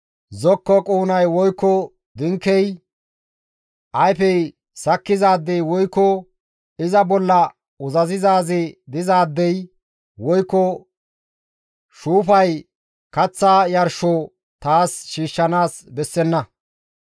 zokko quunay woykko dinkey, ayfey sakkizaadey woykko iza bolla uzazizaazi dizaadey woykko shuufay kaththa yarsho taas shiishshanaas bessenna.